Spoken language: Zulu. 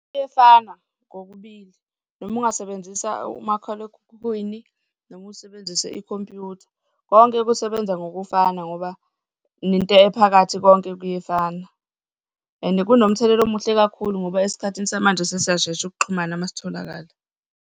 Kuyefana kokubili noma ungasebenzisa umakhalekhukhwini noma usebenzise ikhompyutha, konke kusebenza ngokufana ngoba nento ephakathi konke kuyefana. And kunomthelela omuhle kakhulu ngoba esikhathini samanje sesiyashesha ukuxhumana uma sitholakala.